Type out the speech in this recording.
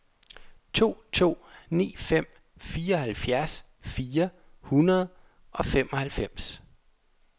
to to ni fem fireoghalvfjerds fire hundrede og femoghalvfems